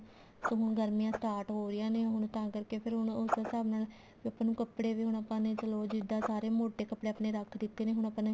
ਹੁਣ ਗਰਮੀਆਂ start ਹੋ ਰਹੀਆਂ ਨੇ ਹੁਣ ਤਾਂ ਕਰਕੇ ਫ਼ੇਰ ਹੁਣ ਉਸ ਹਿਸਾਬ ਨਾਲ ਵੀ ਆਪਾਂ ਨੂੰ ਕੱਪੜੇ ਵੀ ਹੁਣ ਆਪਾਂ ਨੇ ਚਲੋ ਜਿੱਦਾ ਸਾਰੇ ਮੋਟੇ ਕੱਪੜੇ ਰੱਖ ਦਿੱਤੇ ਨੇ ਹੁਣ ਆਪਾਂ ਨੇ